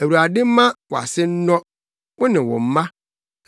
Awurade mma wʼase nnɔ, wo ne wo mma.